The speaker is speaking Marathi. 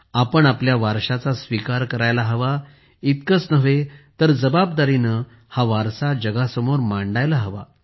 आपण आपल्या वारशाचा स्वीकार करायला हवा इतकेच नव्हे तर जबाबदारीने हा वारसा जगासमोर मांडायला हवा